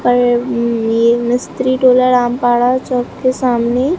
पर ये मिस्त्री डोलाराम पाड़ा चौक के सामने--